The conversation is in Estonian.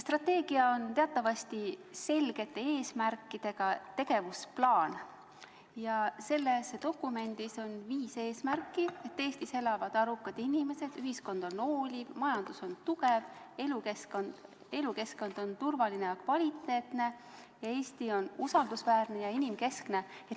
Strateegia on teatavasti selgete eesmärkidega tegevusplaan ja selles dokumendis on viis eesmärki: Eestis elavad arukad inimesed, ühiskond on hooliv, majandus on tugev, elukeskkond on turvaline ja kvaliteetne ning Eesti on usaldusväärne ja inimkeskne.